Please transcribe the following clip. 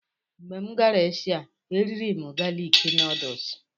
Mgbe m gara Eshia, e riri m galik nuduls.